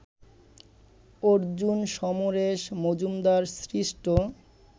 অর্জুন, সমরেশ মজুমদার সৃষ্ট